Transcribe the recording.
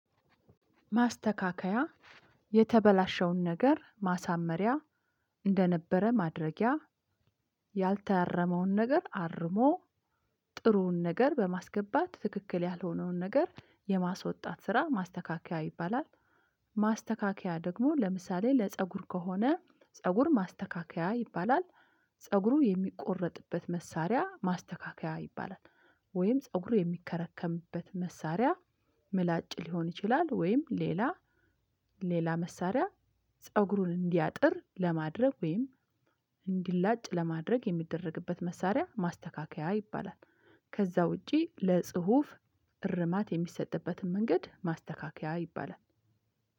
ማስተካከያ የተበላሸውን ነገር ማሳመሪያ እንደነበረ ማድረጊያ ያልታረመውን ነገር አርሞ ጥሩውን ነገር በማስገባት ትክክል ያልሆነውን ነገር የማስወጣት ስራ ማስተካከያ ይባላል። ማስተካከያ ደግሞ ለምሳሌ ለፀጉር ከሆነ ፀጉር ማስተካከያ ይባላል። ፀጉሩ የሚቆረጥበት መሳሪያ ማስተካከያ ይባላል። ወይም ፀጉሩ የሚከረከምበት መሳሪያ ምላጭ ሊሆን ይችላል ወይም ሌላ ሌላ መሳሪያ ፀጉሩን እንዲያጥር ለማድረግ ወይም እንዲላጭ ለማድረግ የሚደረግበት መሳሪያ ማስተካከያ ይባላል። ከዛ ውጪ ለጽሁፍ እርማት የሚሰጥበትም መንገድ ማስተካከያ ይባላል